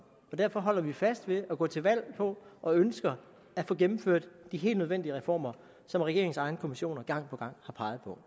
og derfor holder vi fast i at gå til valg på og ønsker at få gennemført de helt nødvendige reformer som regeringens egne kommissioner gang på gang har peget på